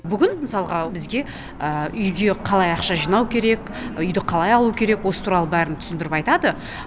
бүгін мысалға бізге үйге қалай ақша жинау үйді қалай алу керек осы туралы бәрін түсіндіріп айтады